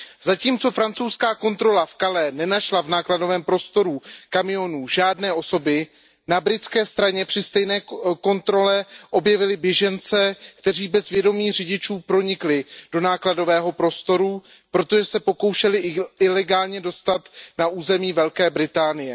Zatímco francouzská kontrola v Calais nenašla v nákladovém prostoru kamionů žádné osoby, na britské straně při stejné kontrole objevili běžence, kteří bez vědomí řidičů pronikli do nákladového prostoru, protože se pokoušeli ilegálně dostat na území Velké Británie.